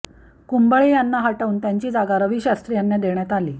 कुंबळे यांना हटवून त्यांची जागा रवी शास्त्री यांना देण्यात आली